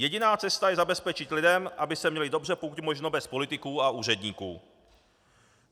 Jediná cesta je zabezpečit lidem, aby se měli dobře, pokud možno bez politiků a úředníků.